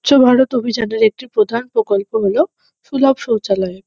স্বচ্ছ ভারত অভিজানের একটি প্রধান প্রকল্প হল সুলভ শৌচালয়।